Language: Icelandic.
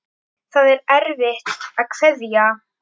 Það er erfitt að kveðja.